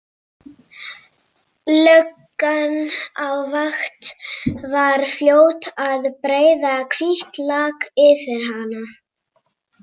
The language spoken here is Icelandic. Löggan á vakt var fljót að breiða hvítt lak yfir hana.